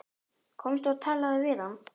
Komdu og talaðu við hann!